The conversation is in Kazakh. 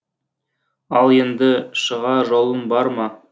ал енді шығар жолың бар ма